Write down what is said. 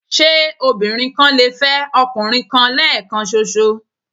Ṣé obìnrin kan lè fẹ́ ọkùnrin kan lẹ́ẹ̀kan ṣoṣo?